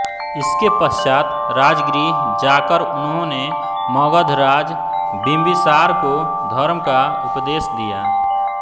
इसके पश्चात् राजगृह जाकर उन्होंने मगधराज बिंबिसार को धर्म का उपदेश दिया